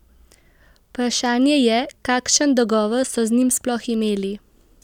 Vprašanje je, kakšen dogovor so z njimi sploh imeli?